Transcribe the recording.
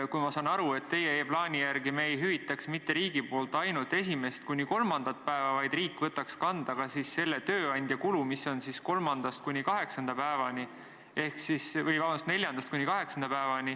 Ma saan aru, et teie plaani järgi riik mitte ainult ei hüvitaks esimest kuni kolmandat päeva, vaid võtaks kanda ka selle tööandja kulu, mis on neljandast kuni kaheksanda päevani.